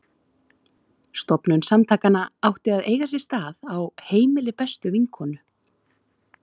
Stofnun samtakanna átti að eiga sér stað á heimili bestu vinkonu